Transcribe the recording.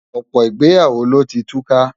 Ọ̀pọ̀ ìgbéyàwó ló ti túká.